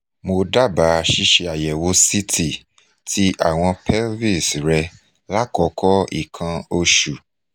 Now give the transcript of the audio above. mo daba ṣiṣe ayewo ct ti awọn pelvis re lakoko ikan oṣu